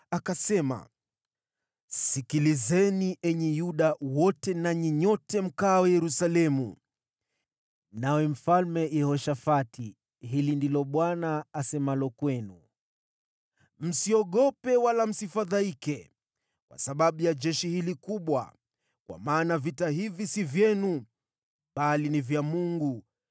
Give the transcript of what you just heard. Akasema: “Sikilizeni, enyi Yuda wote nanyi nyote mkaao Yerusalemu, nawe Mfalme Yehoshafati! Hili ndilo Bwana asemalo kwenu, ‘Msiogope wala msifadhaike kwa sababu ya jeshi hili kubwa. Kwa maana vita hivi si vyenu, bali ni vya Mungu.